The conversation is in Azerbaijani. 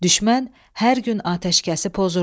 Düşmən hər gün atəşkəsi pozurdu.